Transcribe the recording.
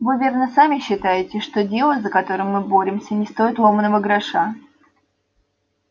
вы верно сами считаете что дело за которое мы боремся не стоит ломаного гроша